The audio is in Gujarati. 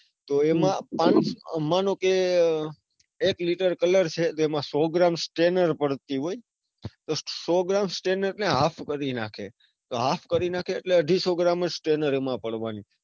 તો એમાં માનો કે એક litter clour છે તો એમાં સો ગ્રામ stainer પડતી હોય તો સો ગ્રામ stainer એટલે half ભરી નાખે તો half ભરી નાખે એટલે અઢીસો ગ્રામ જ stainer એમાં પડવાની.